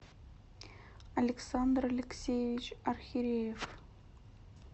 александр алексеевич архиреев